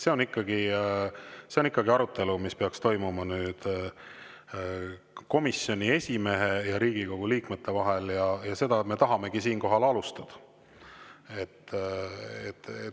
See on ikkagi arutelu, mis peaks toimuma komisjoni esimehe ja Riigikogu liikmete vahel, ja seda me tahamegi siinkohal alustada.